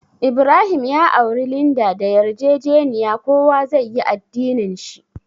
Ibrahim ya auri Linda da yarjejeniya kowa zai yi addinin shi.